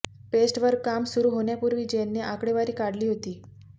paste वर काम सुरू होण्यापूर्वी जेनने आकडेवारी काढली होती